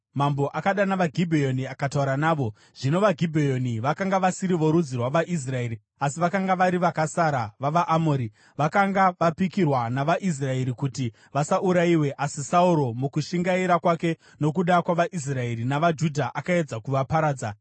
Mambo akadana vaGibheoni akataura navo. (Zvino vaGibheoni vakanga vasiri vorudzi rwavaIsraeri asi vakanga vari vakasara vavaAmori; vakanga vapikirwa navaIsraeri kuti vasaurayiwe, asi Sauro mukushingaira kwake nokuda kwavaIsraeri navaJudha akaedza kuvaparadza.)